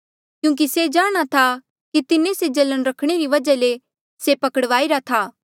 क्यूंकि से जाणहां था कि तिन्हें से जलन रखणे री वजहा ले से पकड़वाईरा था